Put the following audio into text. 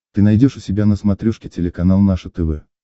ты найдешь у себя на смотрешке телеканал наше тв